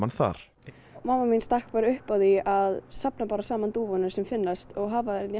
þar mamma mín stakk bara upp á því að safna bara saman dúfunum sem finnast og hafa þær hérna í